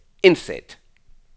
indsæt